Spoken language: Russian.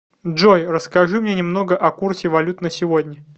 джой расскажи мне немного о курсе валют на сегодня